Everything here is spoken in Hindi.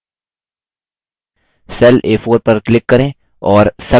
cell a4 पर click करें और sum type करें